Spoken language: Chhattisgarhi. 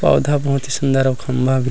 पौधा बहुत ही सुन्दर और खम्भा